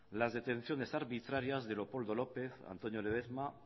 las detecciones arbitrarias de leopoldo lópez antonio ledezma